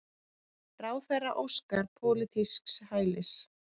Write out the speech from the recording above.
Ráðherra óskar pólitísks hælis